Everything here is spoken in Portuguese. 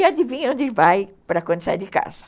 E adivinha onde vai para quando sai de casa?